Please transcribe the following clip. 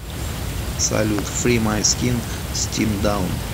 салют фри май скин стим даун